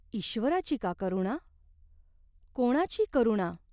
ईश्वराची का करुणा ? कोणाची करुणा ?